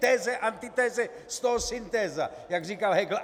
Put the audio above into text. Teze, antiteze, z toho syntéza, jak říkal Hegel.